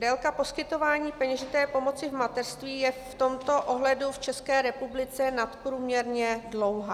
Délka poskytování peněžité pomoci v mateřství je v tomto ohledu v České republice nadprůměrně dlouhá.